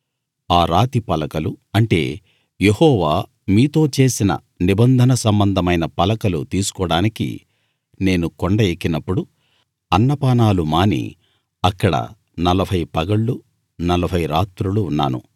ఆ రాతి పలకలు అంటే యెహోవా మీతో చేసిన నిబంధన సంబంధమైన పలకలు తీసుకోడానికి నేను కొండ ఎక్కినప్పుడు అన్నపానాలు మాని అక్కడ నలభై పగళ్లు నలభై రాత్రులు ఉన్నాను